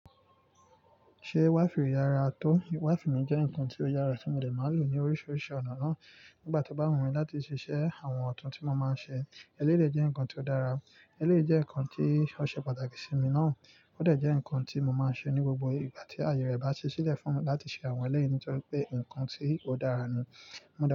Ṣé wifì re yára tó? Wìfì mi jẹ́ ǹkan tó yára tí mo dẹ̀ máa n lò ní oríṣiríṣi ọ̀nà náà nígbà tó bá wù mí láti ṣiṣẹ́ àwọn ọ̀tún tí mo máa ń ṣe. Eléyìí dè jẹ́ ǹkan tó dára. Eléyìí jẹ́ ǹkan tí ó ṣe pàtàkì sí mi náà. Ó dẹ̀ jẹ́ ǹkan tí mo máa ṣe ní gbogbo ìgbà tí àyè rẹ̀ bá ṣí sílẹ̀ fún láti ṣe àwọn eléyìí ni torí pé ǹkan tí ó dára ni. Mo dẹ̀